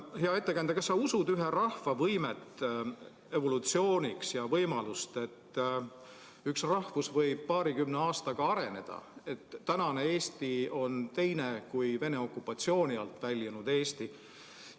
Hea ettekandja, kas sa usud ühe rahva võimet evolutsiooniks ja võimalust, et üks rahvus võib paarikümne aastaga areneda, et tänane Eesti on teine kui Vene okupatsiooni alt väljunud Eesti?